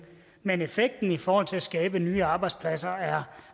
men effekten i forhold til at skabe nye arbejdspladser er